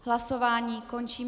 Hlasování končím.